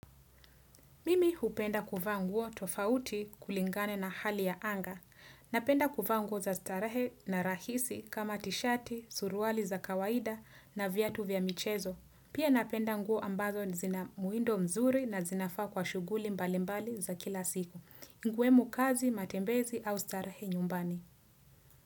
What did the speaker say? Mimi hupenda kuvaa nguo tofauti kulingana na hali ya anga. Napenda kufa nguo za starahe na rahisi kama tishati, suruali za kawaida na vyatu vya michezo. Pia napenda nguo ambazo zina muindo mzuri na zinafaa kwa shuguli mbalimbali za kila siku. Nguemo kazi, matembezi au starahe nyumbani.